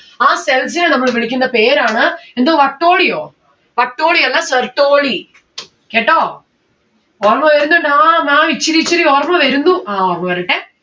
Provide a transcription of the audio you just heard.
ആ cells നെ നമ്മള് വിളിക്കുന്ന പേരാണ് എന്ത് വട്ടോളിയോ? വട്ടോളിയല്ല Sertoli കേട്ടോ? ഓർമ്മ വരുന്നിണ്ട്‌ ആ ma'am ഇച്ചിരി ഇച്ചിരി ഓർമ്മ വരുന്നു. ആ പോരട്ടെ